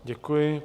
Děkuji.